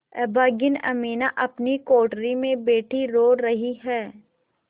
अभागिनी अमीना अपनी कोठरी में बैठी रो रही है